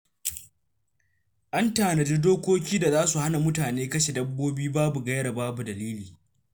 An tanadi dokokin da za su hana mutane kashe dabbobi babu gaira babu dalili.